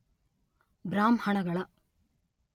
ಬ್ರಾಹ್ಮಣಗಳ